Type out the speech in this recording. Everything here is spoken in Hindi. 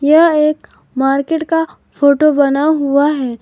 यह एक मार्केट का फोटो बना हुआ है।